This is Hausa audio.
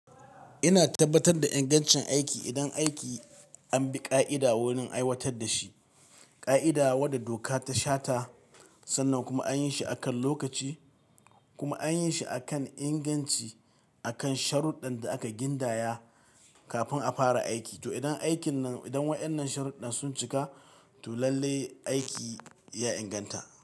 Ina tabbatar da ingancin aiki. Idan aiki an bi ƙa'ida wurin aiwatar da shi, ƙa'ida wadda doka ta shata sannan kuma an yi shi akan lokaci kuma an yi shi akan inganci, akan sharuɗdɗan da aka gindaya kafin a fara aiki. To idan aikin nan, idan waɗannan sharuɗdan sun cika, to lalle aiki ya inganta.